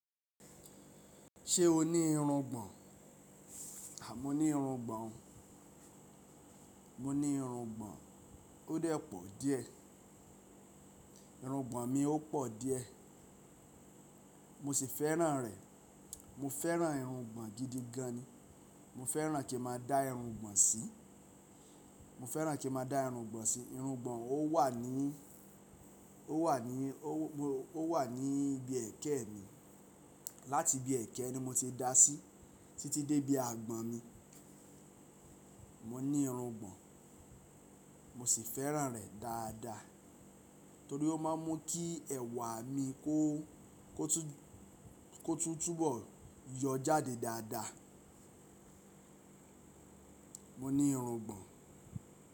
Ṣé o ní irungbọ̀n? Àmọ́ ní irungbọ̀n, mo ní irungbọ̀n, ó dẹ̀ pọ̀ díẹ̀. Irungbọ̀n mi ó pọ̀ díẹ̀, mo sì fẹ́ràn rẹ̀. Mo fẹ́ràn irungbọ̀n gidi gan ni. Mo fẹ́ràn kí n máa da irungbọ̀n sí. Mo fẹ́ràn kí n máa da irungbọ̀n sí. Irungbọ̀n ò wà ní, ó wà ní, ó wà ní ibi ẹ̀kẹ́ mi. Láti ibi ẹ̀kẹ́ ni mo ti dá sí títí dé ibi àgbọ̀n mi. Mọ ní irungbọ̀n, mo sì fẹ́ràn rẹ̀ dáadáa torí ó máa ń mú kí ẹ̀wà mi kó, kó túbọ̀ yọ jáde dáadáa. Mo ní irungbọ̀n.